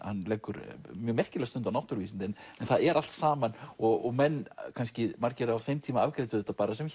leggur mjög merkilega stund á náttúruvísindi en það er allt saman og menn kannski margir á þeim tíma afgreiddu þetta bara sem